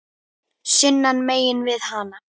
sunnan megin við hana.